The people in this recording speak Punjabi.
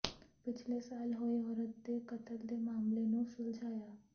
ਪਿਛਲੇ ਸਾਲ ਹੋਏ ਔਰਤ ਦੇ ਕਤਲ ਦੇ ਮਾਮਲੇ ਨੂੰ ਸੁਲਝਾਇਆ